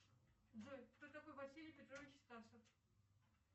джой кто такой василий петрович стасов